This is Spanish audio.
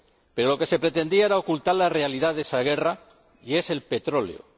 pero lo que se pretendía era ocultar la realidad de esa guerra, y es el petróleo.